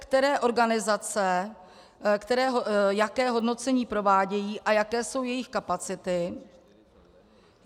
Které organizace jaké hodnocení provádějí a jaké jsou jejich kapacity?